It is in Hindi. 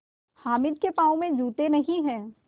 हामिद के पाँव में जूते नहीं हैं